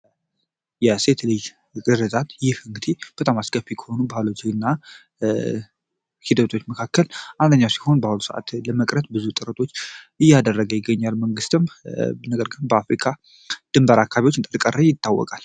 የሴት ልጅ ግርዛት ይህ እንግዲህ በጣም አስከፊ ከሆኑ ባህሎች እና ሂደቶች መካከል አንደኛው ሲሆን በአሁኑ ሰዓት ለመቅረት ብዙ ጥርቶች እያደረገ ይገኛል መንግሥትም ነገር ግን በአፍሪካ ድንበር አካቢዎች እንደቀረ ይታወቃል።